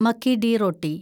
makki di റോട്ടി